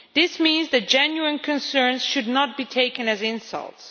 This means that genuine concerns should not be taken as insults.